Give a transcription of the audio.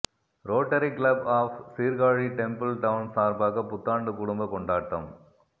rotary club of Sirkazhi temple town சார்பாக புத்தாண்டு குடும்ப கொண்டாட்டம்